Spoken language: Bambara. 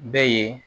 Bɛ ye